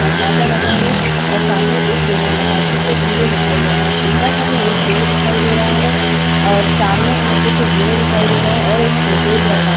दरवाज़ा लगा है औ सामने एक बेनर लगा हैं जिसपर हीरो लिखा हुआ है। ऊपर हमें एक पेड़ दिखाई दे रहा है और सामने हमें कुछ ज़ीने दिखाई दे रहे हैं और एक शोकेस रखा --